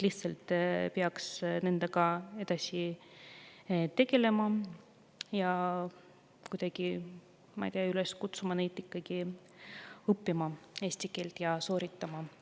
Peaks nendega lihtsalt edasi tegelema ja kuidagi, ma ei tea, kutsuma neid üles ikkagi eesti keelt õppima ja eksamit sooritama.